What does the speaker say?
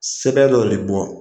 Sɛbɛn dɔ de bɔn.